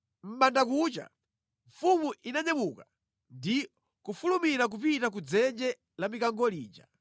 Mʼbandakucha, mfumu inanyamuka ndi kufulumira kupita ku dzenje la mikango lija.